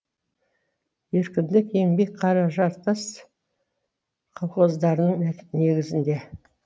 еркіндік еңбек қаражартас колхоздарының негізінде